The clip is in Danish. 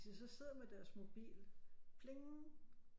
Hvis de så sidder med deres mobil pling